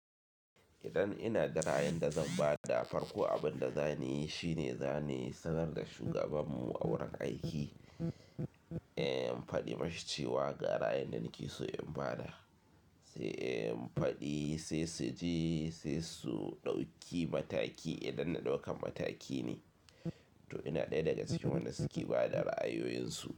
Idan ina da ra ayin da zanbada da farko, abin da za niyi shine, za niyi sanar da shugaban mu a wurin aiki, in faɗi mashi cewa gara ayin da nakeso inbada da se in faɗi sai su ji sai su ɗauki mataki idan na ɗaukan mataki ne. To ina ɗaya daga cikin wanda suke ba da ra'ayoyinsu.